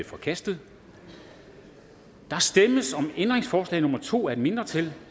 forkastet der stemmes om ændringsforslag nummer to af et mindretal